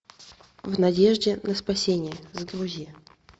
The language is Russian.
в надежде на спасение загрузи